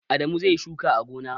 Adamu zai yi shuka a gona.